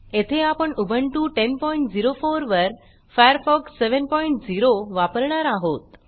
येथे आपण उबुंटू 1004 वर फायरफॉक्स 70 वापरणार आहोत